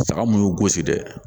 Saga mun y'u gosi dɛ